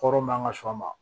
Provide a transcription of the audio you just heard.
Kɔrɔ man ka sɔn a ma